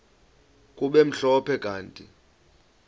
kube mhlophe kanti